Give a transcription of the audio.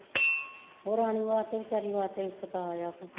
ਓ ਰਾਣੀ ਵਾਸਤੇ ਵਿਚਾਰੀ ਵਾਸਤੇ ਸਤਾਅ ਆ ਕੇ